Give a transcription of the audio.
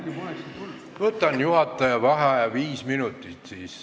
Võtan siis juhataja vaheaja viis minutit.